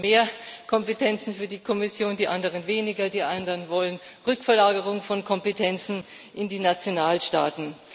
Die einen wollen mehr Kompetenzen für die Kommission, die anderen weniger, wieder andere fordern eine Rückverlagerung von Kompetenzen in die Nationalstaaten.